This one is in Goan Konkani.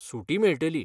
सुटी मेळटली.